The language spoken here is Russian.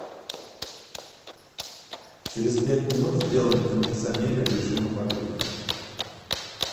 через пять минут сделай на кондиционере в режим обогрев